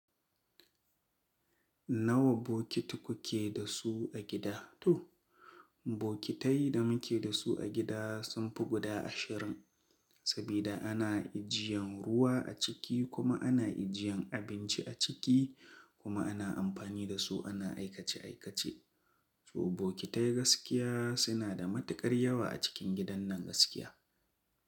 Nawa bokiti kuke da su a gida? To, bokitai da muke da su a gida sun fi guda ashirin, sabida ana ijiyan ruwa a ciki kuma ana ijiyan abinci a ciki kuma ana amfani da su ana aikace aikace. To bokitai gaskiya suna da matukar yawa a cikin gidan nan gaskiya.